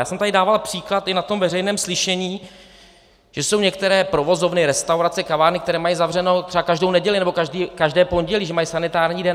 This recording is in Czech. Já jsem tady dával příklad i na tom veřejném slyšení, že jsou některé provozovny, restaurace, kavárny, které mají zavřeno třeba každou neděli nebo každé pondělí, že mají sanitární den.